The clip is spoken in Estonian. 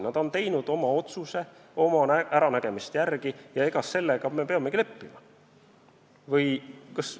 Nad on teinud oma otsuse oma äranägemise järgi ja sellega me peamegi leppima.